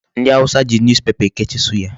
Ndị awụsa ji Newspaper ekechi suya.